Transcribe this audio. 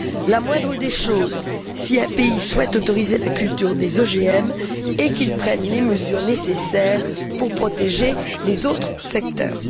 La moindre des choses, si un pays souhaite autoriser la culture des OGM, est qu'il prenne les mesures nécessaires pour protéger les autres secteurs.